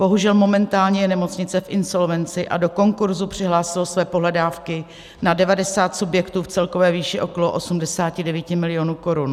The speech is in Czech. Bohužel momentálně je nemocnice v insolvenci a do konkurzu přihlásilo své pohledávky na 90 subjektů v celkové výši okolo 89 milionů korun.